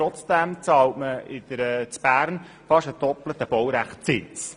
Trotzdem zahlt man in Bern fast den doppelten Baurechtszins.